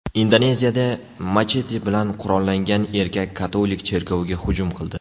Indoneziyada machete bilan qurollangan erkak katolik cherkoviga hujum qildi.